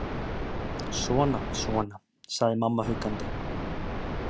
Svona. svona. sagði mamma huggandi.